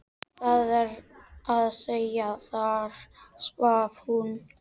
Það er að segja: þar svaf hún.